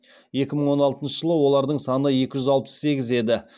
екі мың он алтыншы жылы олардың саны екі жүз алпыс сегіз еді